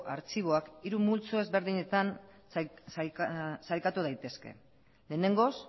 artxiboak hiru multzo desberdinetan sailkatu daitezke lehenengoz